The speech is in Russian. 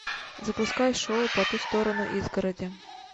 запускай шоу по ту сторону изгороди